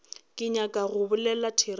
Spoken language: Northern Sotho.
ke nyaka go bolela therešo